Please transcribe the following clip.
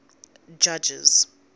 judges